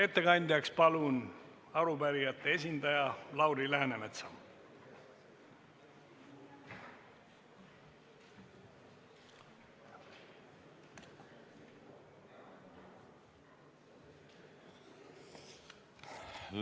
Palun kõnepulti arupärijate esindaja Lauri Läänemetsa!